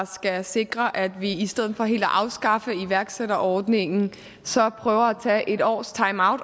skal sikre at vi i stedet for helt at afskaffe iværksætterordningen prøver at tage et års timeout